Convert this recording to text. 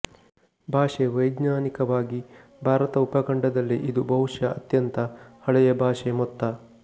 ಭಾಷೆ ವೈಜ್ಞಾನಿಕವಾಗಿ ಭಾರತ ಉಪಖಂಡದಲ್ಲಿ ಇದು ಬಹುಶಃ ಅತ್ಯಂತ ಹಳೆಯ ಭಾಷೆ ಮೊತ್ತ